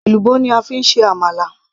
èlùbọ́ ni a fi ń ṣe àmàlà